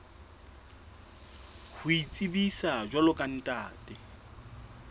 ho itsebisa jwalo ka ntate